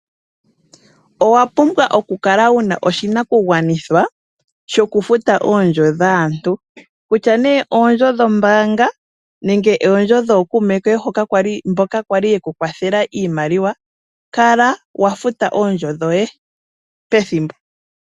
Owapumbwa okukala wuna oshi nakugwanithwa shokufuta oondjo dhaantu, kutya nee oondjo dho mbaanga nenge oondjo dho kuume koye mboka kwali yeku kwathela iimaliwa kala wafuta oondjo dhoye pethimbo.